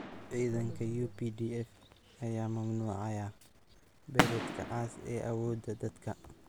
Ciidanka UPDF ayaa mamnuucaya Beret-ka cas ee awoodda dadka